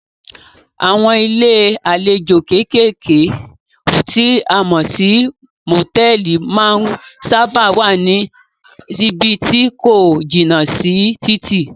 Àwọn ilé àlejò kékèké tí a mọ̀ sí motẹ̀ẹ̀li máa ń sábáà wá ní ibí tí ko jìnà sí títì.